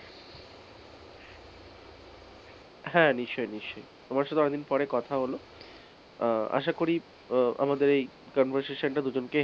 হ্যাঁ নিশ্চয়ই নিশ্চয়ই তোমার সঙ্গে অনেকদিন পরে কথা হল আহ আশা করি উম আমাদের এই conversation টা দুজনকেই,